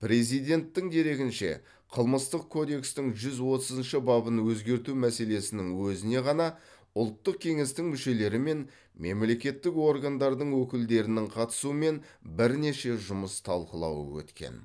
президенттің дерегінше қылмыстық кодекстің жүз отызыншы бабын өзгерту мәселесінің өзіне ғана ұлттық кеңестің мүшелері мен мемлекеттік органдардың өкілдерінің қатысуымен бірнеше жұмыс талқылауы өткен